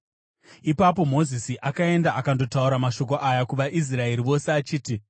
Ipapo Mozisi akaenda akandotaura mashoko aya kuvaIsraeri vose achiti: